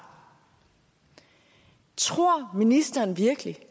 tror ministeren virkelig